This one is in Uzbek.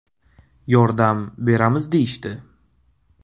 Yordam beramiz deyishdi.